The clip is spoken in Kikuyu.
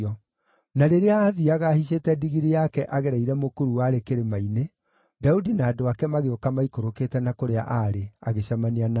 Na rĩrĩa aathiiaga ahaicĩte ndigiri yake agereire mũkuru warĩ kĩrĩma-inĩ, Daudi na andũ ake magĩũka maikũrũkĩte na kũrĩa aarĩ, agĩcemania nao.